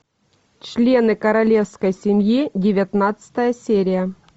члены королевской семьи девятнадцатая серия